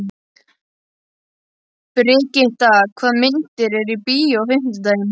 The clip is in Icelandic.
Brigitta, hvaða myndir eru í bíó á fimmtudaginn?